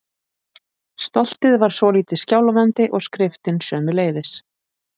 Stoltið var svolítið skjálfandi- og skriftin sömuleiðis.